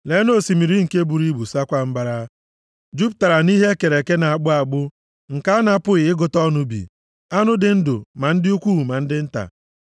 Leenụ osimiri nke buru ibu saakwa mbara; jupụtara nʼihe e kere eke na-akpụ akpụ nke a na-apụghị ịgụta ọnụ bi, anụ dị ndụ ma ndị ukwu ma ndị nta.